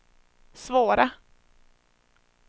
svåra